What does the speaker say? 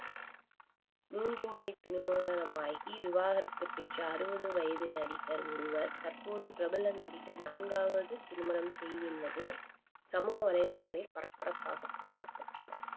மூன்று முறை திருமணமாகி விவாகரத்து பெற்ற அறுபது வயது நடிகர் ஒருவர் தற்போது பிரபல நடிகர் நான்காவது திருமணம் செய்துள்ளது சமூக வலைதளங்களில் பரபரப்பாக பேசப்பட்டுள்ளது